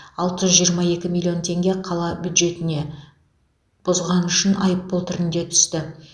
алты жүз жиырма екі миллион теңге қала бюджетіне бұзғаны үшін айыппұл түрінде түсті